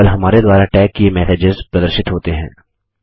केवल हमारे द्वारा टैग किये मैसेजेस प्रदर्शित होते हैं